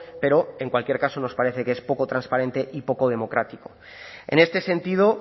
pero en cualquier caso nos parece que es poco transparente y poco democrático en este sentido